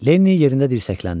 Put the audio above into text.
Lenni yerində dirsəkləndi.